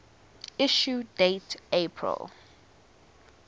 issue date april